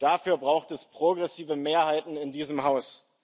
Dafür braucht es progressive Mehrheiten in diesem Haus.